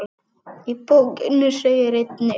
Í bókinni segir einnig